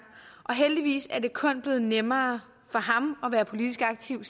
og heldigvis er det siden kun blevet nemmere for ham at være politisk aktiv